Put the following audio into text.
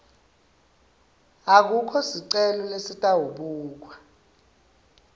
akukho sicelo lesitawubukwa